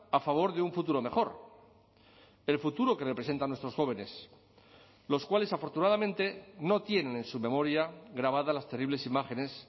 a favor de un futuro mejor el futuro que representan nuestros jóvenes los cuales afortunadamente no tienen en su memoria grabada las terribles imágenes